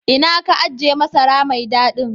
Ina ka ajie masara mai dadin?